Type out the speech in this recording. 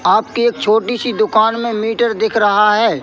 आपकी एक छोटी सी दुकान में मीटर दिख रहा है।